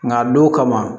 Nka don kama